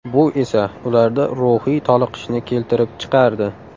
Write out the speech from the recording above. Bu esa ularda ruhiy toliqishni keltirib chiqardi.